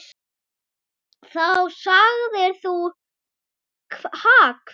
Þá sagðir þú: Ha hver?